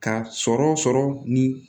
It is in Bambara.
Ka sɔrɔ ni